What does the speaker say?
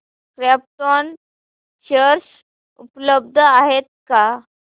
krypton share उपलब्ध आहेत का